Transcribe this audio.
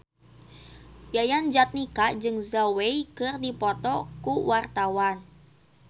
Yayan Jatnika jeung Zhao Wei keur dipoto ku wartawan